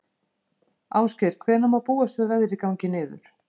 Ásgeir, hvenær má búast við að veðrið gangi niður?